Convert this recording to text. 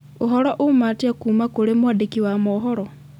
ũhoro uuma atĩa kuuma kũrĩ mwandĩki wa mohoro